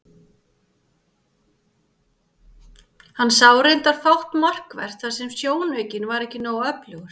Hann sá reyndar fátt markvert þar sem sjónaukinn var ekki nógu öflugur.